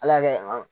Ala y'a kɛ